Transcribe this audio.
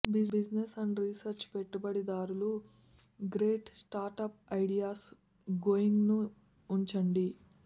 business and research పెట్టుబడిదారులు great startup ideas going ను ఉంచండి